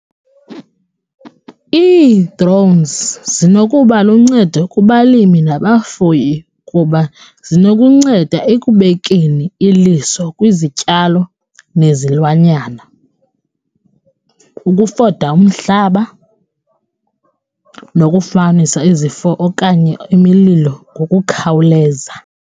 Ii-drones zinokuba luncedo kubalimi nabafuyi kuba zinokunceda ekubekeni iliso kwizityalo nezilwanyana, ukufota umhlaba nokufumanisa izifo okanye imililo ngokukhawuleza.